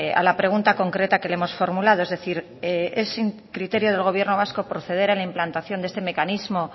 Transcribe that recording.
a la pregunta concreta que le hemos formulado es decir es criterio del gobierno vasco proceder a la implantación de este mecanismo